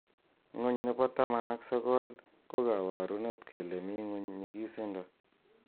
Ngony' �nepo taman ak sogol ko kabarunet kele mii nguny' nyigisindo.